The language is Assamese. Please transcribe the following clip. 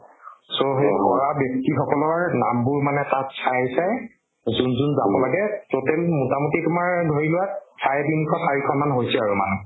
so সেই কৰা ব্য়ক্তি সকলৰ নাম বোৰ মানে তাত চাই চাই যোন যোন যাব লাগে total মোটামোটি তোমাৰ ধৰি লোৱা চাৰে তিনি শ চাৰি শ মান হৈছে আৰু মানুহ